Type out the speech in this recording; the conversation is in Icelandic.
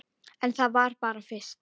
En það var bara fyrst.